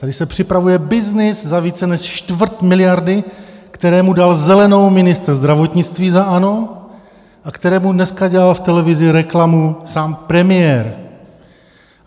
Tady se připravuje byznys za více než čtvrt miliardy, kterému dal zelenou ministr zdravotnictví za ANO a kterému dneska dělal v televizi reklamu sám premiér.